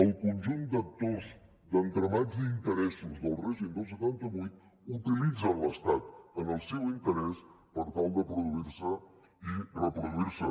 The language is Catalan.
el conjunt d’actors d’entramats i d’interessos del règim del setanta vuit utilitzen l’estat en el seu interès per tal de produir se i reproduir se